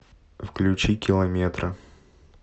включи километры